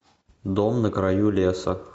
дом на краю леса